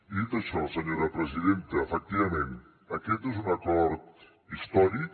i dit això senyora presidenta efectivament aquest és un acord històric